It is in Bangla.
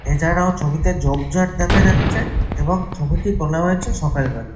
এছাড়াও ছবিতে ঝোপঝাড় দেখা যাচ্ছেএবং ছবিটি তোলা হয়েছে সকাল বেলা।